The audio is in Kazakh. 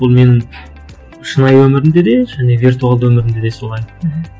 бұл менің шынайы өмірімде де және виртуалды өмірімде де солай мхм